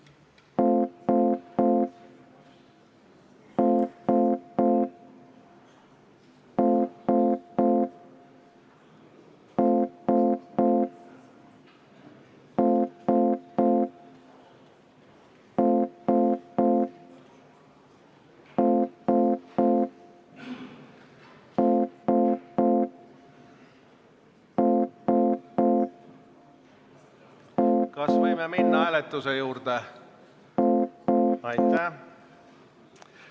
Kas võime minna lõpphääletuse juurde?